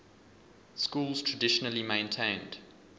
schools traditionally maintained